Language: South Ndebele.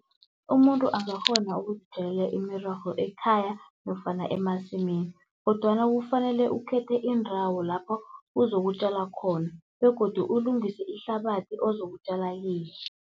Umuntu angakghona ukuzitjalela imirorho ekhaya nofana emasimini kodwana kufanele ukhethe indawo lapho uzokutjala khona begodu ulungise ihlabathi ozokutjala kiyo.